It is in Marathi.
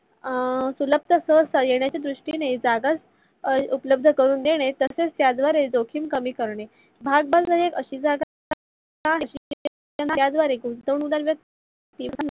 सुलभ येण्याच्या द्रुष्टीने जागा उपलब्ध करून देणे. तसेच त्यावरील जोखीम कमी करणे. भाग्बजार एक अशी जागा जिथे